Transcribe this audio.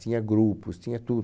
Tinha grupos, tinha tudo.